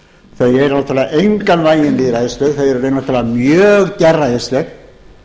þau eru náttúrlega engan veginn lýðræðisleg þau eru í raun veru náttúrlega mjög gerræðisleg